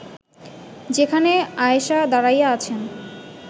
যেখানে আয়েষা দাঁড়াইয়া আছেন